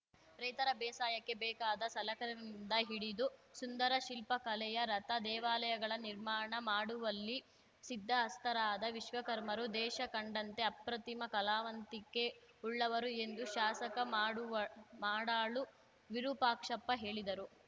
ರೈತರ ಬೇಸಾಯಕ್ಕೆ ಬೇಕಾದ ಸಲಕರಣೆಗಳಿಂದ ಹಿಡಿದು ಸುಂದರ ಶಿಲ್ಪ ಕಲೆಯ ರಥ ದೇವಾಲಯಗಳ ನಿರ್ಮಾಣ ಮಾಡುವಲ್ಲಿ ಸಿದ್ದ ಹಸ್ತರಾದ ವಿಶ್ವಕರ್ಮರು ದೇಶ ಕಂಡಂತೆ ಅಪ್ರತಿಮ ಕಲಾವಂತಿಕೆ ಉಳ್ಳವರು ಎಂದು ಶಾಸಕ ಮಾಡುವ್ ಮಾಡಾಳು ವಿರೂಪಾಕ್ಷಪ್ಪ ಹೇಳಿದರು